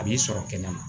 A b'i sɔrɔ kɛnɛma